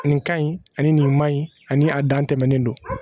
Nin ka ɲi ani nin man ɲi ani a dan tɛmɛnen don